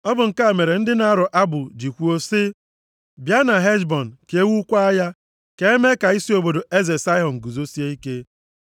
Ọ bụ nke a mere ndị na-arọ abụ ji kwuo sị, “Bịa na Heshbọn ka e wukwaa ya, ka e mee ka isi obodo eze Saịhọn guzosie ike.